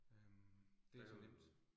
Øh det så nemt